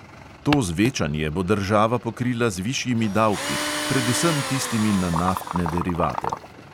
To zvečanje bo država pokrila z višjimi davki, predvsem tistimi na naftne derivate.